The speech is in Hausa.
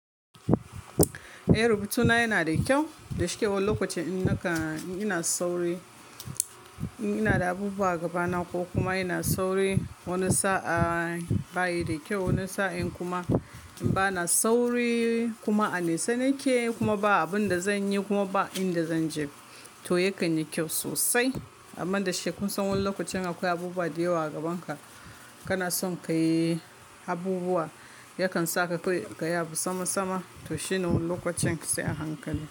Eh rubutuna yana da kyau, da shekaru lokacin in naka ina da sauri, in ina da abubuwa a gaba na ko kuma ina sauri. Wani sa'a bayi da kyau, wani sa'in kuma bana sauri kuma a nesa nake kuma ba abin da zanyi kuma ba inda zanje to yakan yi kyau sosai. Amma da shekaru san wani lokacin akwai abubuwa da yawa a gaban ka, kana son ka yi abubuwa yakan saka kai gaya musamasa to shi ne wani lokacin sai a hankali.